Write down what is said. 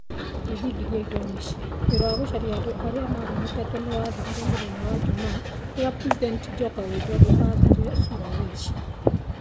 Ngethingithia Indonesia: Wĩra wa gũcaria andũ arĩa mahonokete nĩ wathirire mũthenya wa Jumaa, rĩrĩa President Joko Widodo aathire Sulawesi.